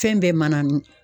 Fɛn bɛɛ manannin